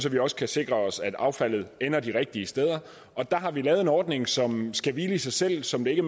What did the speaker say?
vi også kan sikre os at affaldet ender de rigtige steder der har vi lavet en ordning som skal hvile i sig selv og som det ikke